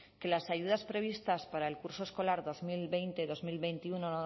que las ayudas previstas para el curso escolar dos mil veinte dos mil veintiuno